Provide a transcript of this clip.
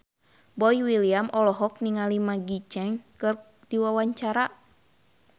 Boy William olohok ningali Maggie Cheung keur diwawancara